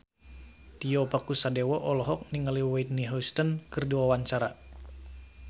Tio Pakusadewo olohok ningali Whitney Houston keur diwawancara